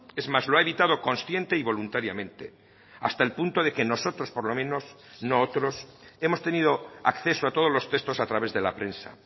es más lo ha evitado consciente y voluntariamente hasta el punto de que nosotros por lo menos no otros hemos tenido acceso a todos los textos a través de la prensa